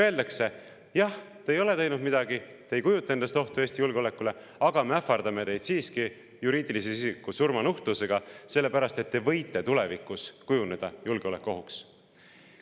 Öeldakse: jah, te ei ole midagi teinud, te ei kujuta endast ohtu Eesti julgeolekule, aga me ähvardame teid siiski juriidilise isiku surmanuhtlusega, sest te võite tulevikus kujuneda julgeolekuohuks.